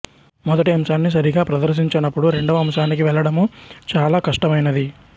మొదటి అంశాన్ని సరిగా ప్రదర్శించనపుడు రెండవ అంశానికి వెళ్ళడము చాలా కష్టమైనది